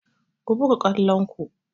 Ku buga kwallon ku!